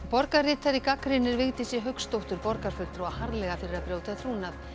borgarritari gagnrýnir Vigdísi Hauksdóttur borgarfulltrúa harðlega fyrir að brjóta trúnað